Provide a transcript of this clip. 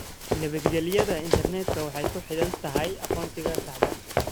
Nabadgelyada intarneedku waxay ku xidhan tahay aqoonsiga saxda ah.